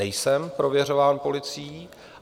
Nejsem prověřován policií.